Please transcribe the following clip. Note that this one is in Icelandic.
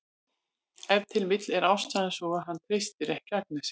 Ef til vill er ástæðan sú að hann treystir ekki Agnesi.